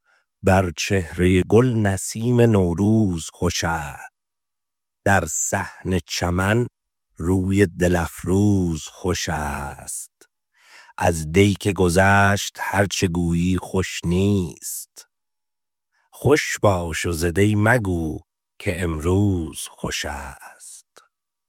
بر چهرۀ گل نسیم نوروز خوش است در صحن چمن روی دل افروز خوش است از دی که گذشت هر چه گویی خوش نیست خوش باش و ز دی مگو که امروز خوش است